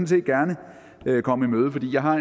set gerne komme i møde for jeg har